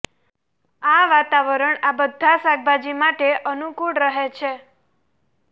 આ વાતાવરણ આ બધાં શાકભાજી માટે અનુકૂળ રહે છે